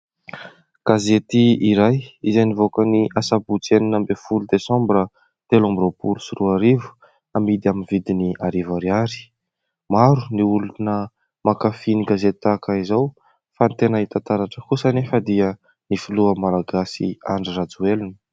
Gazety iray izay nivoaka ny sabotsy enina amby folo desambra telo amby roapolo sy roa arivo. Hamidy amin'ny vidiny arivo ariary. Maro ny olona mankafy gazety tahaka izao fa ny tena hita taratra kosa anefa dia ny filoha malagasy Andry Rajoelina.